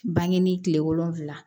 Bange ni kile wolonfula